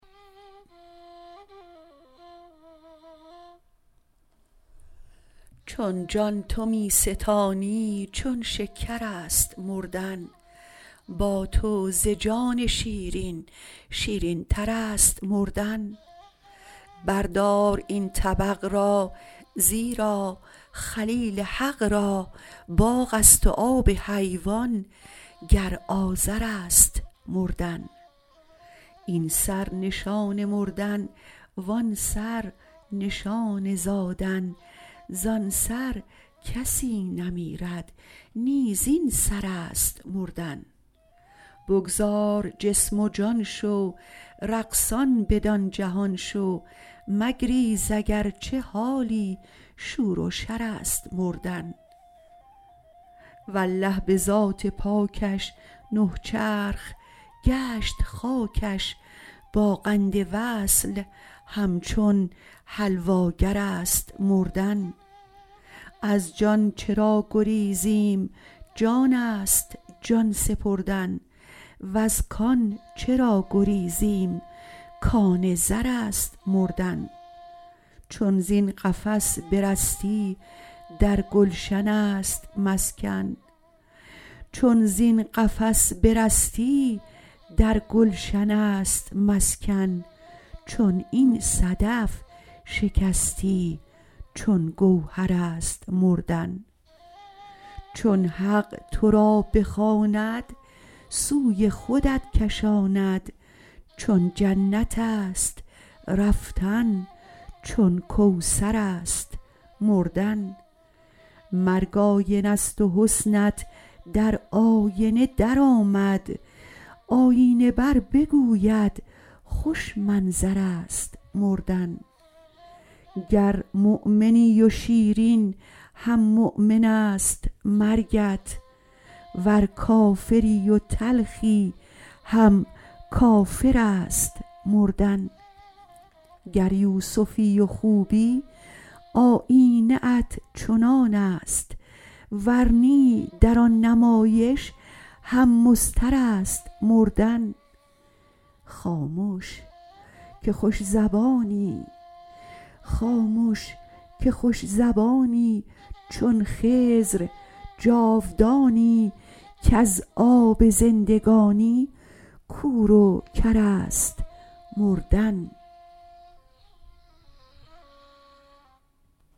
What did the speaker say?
چون جان تو می ستانی چون شکر است مردن با تو ز جان شیرین شیرینتر است مردن بردار این طبق را زیرا خلیل حق را باغ است و آب حیوان گر آذر است مردن این سر نشان مردن و آن سر نشان زادن زان سر کسی نمیرد نی زین سر است مردن بگذار جسم و جان شو رقصان بدان جهان شو مگریز اگر چه حالی شور و شر است مردن والله به ذات پاکش نه چرخ گشت خاکش با قند وصل همچون حلواگر است مردن از جان چرا گریزیم جان است جان سپردن وز کان چرا گریزیم کان زر است مردن چون زین قفس برستی در گلشن است مسکن چون این صدف شکستی چون گوهر است مردن چون حق تو را بخواند سوی خودت کشاند چون جنت است رفتن چون کوثر است مردن مرگ آینه ست و حسنت در آینه درآمد آیینه بربگوید خوش منظر است مردن گر مؤمنی و شیرین هم مؤمن است مرگت ور کافری و تلخی هم کافر است مردن گر یوسفی و خوبی آیینه ات چنان است ور نی در آن نمایش هم مضطر است مردن خامش که خوش زبانی چون خضر جاودانی کز آب زندگانی کور و کر است مردن